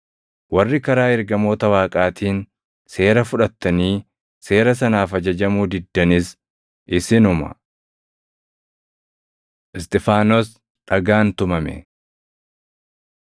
warri karaa ergamoota Waaqaatiin seera fudhattanii seera sanaaf ajajamuu diddanis isinuma.” Isxifaanos Dhagaan Tumame